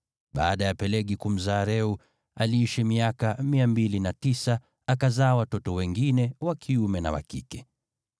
Baada ya Pelegi kumzaa Reu, aliishi miaka 209, akazaa watoto wengine wa kiume na wa kike.